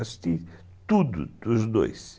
Assisti tudo dos dois.